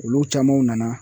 Olu camanw nana